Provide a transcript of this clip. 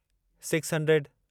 six hundred